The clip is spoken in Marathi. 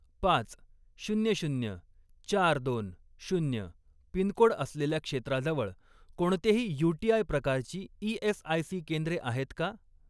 पाच, शून्य शून्य, चार, दोन, शून्य पिनकोड असलेल्या क्षेत्राजवळ कोणतेही यूटीआय प्रकारची ई.एस.आय.सी. केंद्रे आहेत का?